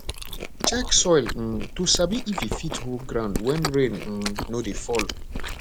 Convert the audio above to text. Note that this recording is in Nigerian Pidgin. check soil um to sabi if e fit hold ground when rain um no dey fall